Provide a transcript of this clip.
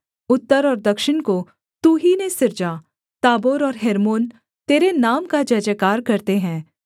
उत्तर और दक्षिण को तू ही ने सिरजा ताबोर और हेर्मोन तेरे नाम का जयजयकार करते हैं